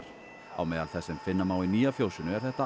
á meðal þess sem finna má í nýja fjósinu er þetta